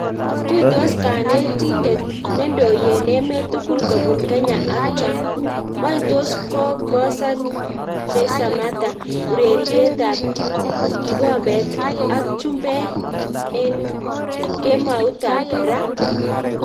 Tuitos kanetindet nendoi en emet tukul kobun Kenya ak Trump. wany tos kokosan Je Samatta ureriet ab kikombet ak chumbek en kemout ab raah?